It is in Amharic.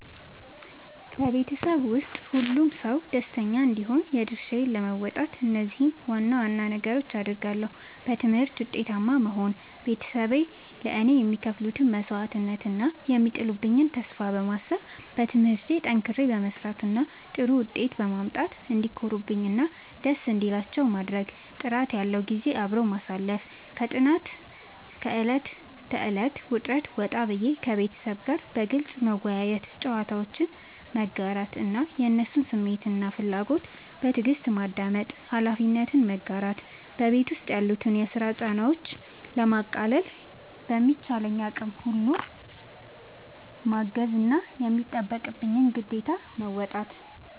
በቤተሰቤ ውስጥ ሁሉም ሰው ደስተኛ እንዲሆን የድርሻዬን ለመወጣት እነዚህን ዋና ዋና ነገሮች አደርጋለሁ፦ በትምህርቴ ውጤታማ መሆን፦ ቤተሰቤ ለእኔ የሚከፍሉትን መስዋዕትነት እና የሚጥሉብኝን ተስፋ በማሰብ፣ በትምህርቴ ጠንክሬ በመስራት እና ጥሩ ውጤት በማምጣት እንዲኮሩብኝ እና ደስ እንዲላቸው ማድረግ። ጥራት ያለው ጊዜ አብሮ ማሳለፍ፦ ከጥናትና ከዕለት ተዕለት ውጥረት ወጣ ብዬ፣ ከቤተሰቤ ጋር በግልጽ መወያየት፣ ጨዋታዎችን መጋራት እና የእነሱን ስሜትና ፍላጎት በትዕግስት ማዳመጥ። ኃላፊነትን መጋራት፦ በቤት ውስጥ ያሉትን የስራ ጫናዎች ለማቃለል በሚቻለኝ አቅም ሁሉ ማገዝና የሚጠበቅብኝን ግዴታ መወጣት።